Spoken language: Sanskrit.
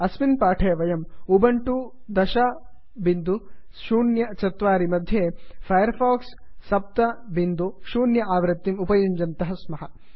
अस्मिन् पाठे वयम् उबन्टु 1004 मध्ये फैर् फाक्स् 70 आवृत्तिम् उपयुञ्जानाः स्मः